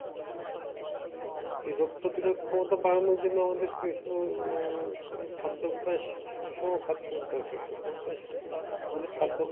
এই রোগ প্রতিরোধ ক্ষমতা বাড়ানোর জন্য আমাদের কিছু খাদ্যাভ্যাস সুষম খাদ্যর দরকার। খাদ্যভ্যাস মানে খাদ্য